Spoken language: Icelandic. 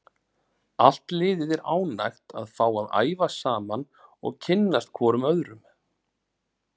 Allt liðið er ánægt að fá að æfa saman og kynnast hvorum öðrum.